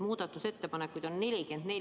Muudatusettepanekuid on 44.